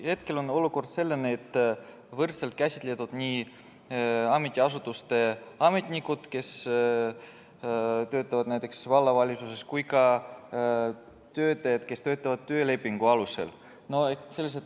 Hetkel on olukord selline, et võrdselt käsitletud on nii ametiasutuste ametnikud, kes töötavad näiteks vallavalitsuses, kui ka töötajad, kes töötavad töölepingu alusel.